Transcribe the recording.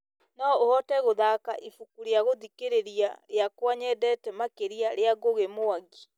no ũhote gũthaaka ibuku rĩa gũthikĩrĩria rĩakwa nyendete makĩria rĩa ngũgĩ mwangi